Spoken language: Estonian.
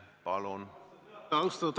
Lugupeetud istungi juhataja!